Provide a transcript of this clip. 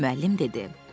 Müəllim dedi: